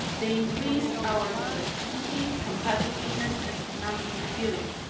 They increase our productivity, competitiveness and economic resilience.